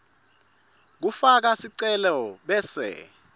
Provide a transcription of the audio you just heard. lekufaka sicelo bese